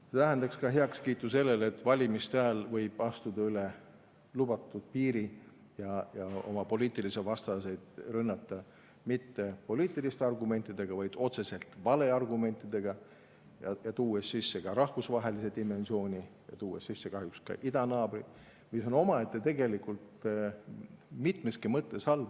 See tähendaks ka heakskiitu sellele, et valimiste ajal võib astuda üle lubatud piiri ja oma poliitilisi vastaseid rünnata mitte poliitiliste argumentidega, vaid otseselt valeargumentidega, tuues sisse ka rahvusvahelise dimensiooni, tuues sisse kahjuks ka idanaabri, mis on omaette tegelikult mitmeski mõttes halb.